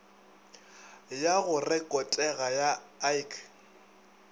ya go rekotega ya ik